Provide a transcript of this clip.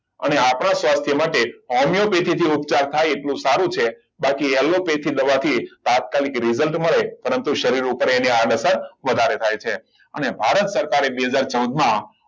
આને આપણા સ્વાસ્થ્ય માટે હોમિયોપેથીક થી ઉપચાર થાય એટલો સારો છે બાકી એલોપેથી દવાથી તાત્કાલિક result મળે પરંતુ શરીર ઉપર એની આડસર વધારે થાય છે અને દ્વારા સરકારે બે હજાર ચૌદમાં